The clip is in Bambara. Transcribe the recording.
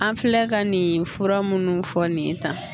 An filɛ ka nin fura minnu fɔ nin ye tan